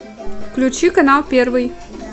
включи канал первый